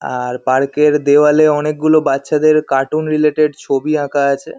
আর park -এর দেওয়ালে অনেকগুলো বাচ্চাদের কার্টুন রিলেটেড ছবি আঁকা আছে।